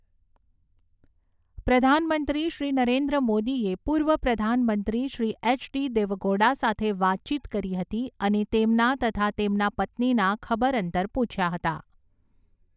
પ્રધાનમંત્રી શ્રી નરેન્દ્ર મોદીએ પૂર્વ પ્રધાનમંત્રી શ્રી એચ ડી દેવગૌડા સાથે વાતચીત કરી હતી અને તેમના તથા તેમનાં પત્નીના ખબરઅંતર પૂછ્યા હતા.